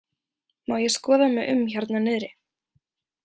Má ég skoða mig um hérna niðri?